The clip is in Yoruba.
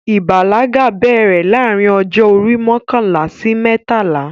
Ìbàlágà bẹ̀rẹ̀ láàrin ọjọ́ orí mọkànlá sí mẹ́tàlá